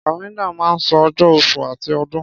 Kàlẹ́ńdà máa ń sọ ọjọ́, oṣù àti ọdún.